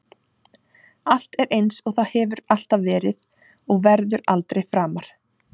Allt er einsog það hefur alltaf verið og verður aldrei framar.